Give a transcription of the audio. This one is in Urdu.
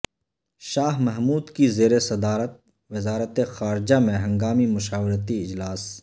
شاہ محمود کی زیر صدارت وزارت خارجہ میں ہنگامی مشاورتی اجلاس